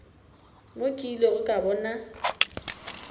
mo ke ilego ka bona